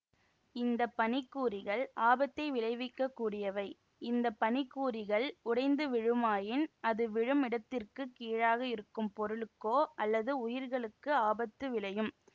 இந்த பனிக்கூரிகள் ஆபத்தை விளைவிக்க கூடியவை இந்த பனிக்கூரிகள் உடைந்து விழுமாயின் அது விழும் இடத்திற்குக் கீழாக இருக்கும் பொருளுக்கோ அல்லது உயிர்களுக்கு ஆபத்து விளையும்